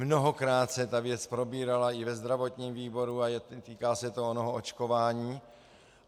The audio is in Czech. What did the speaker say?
Mnohokrát se ta věc probírala i ve zdravotním výboru a týká se to onoho očkování.